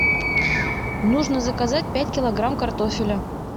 нужно заказать пять килограмм картофеля